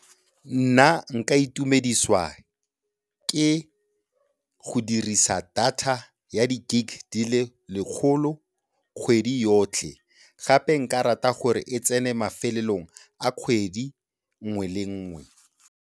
Nna nka itumediswa ke go dirisa data ya di-gig di le lekgolo kgwedi yotlhe, gape nka rata gore e tsene mafelong a kgwedi nngwe le nngwe.